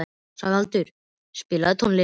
Sævaldur, spilaðu tónlist.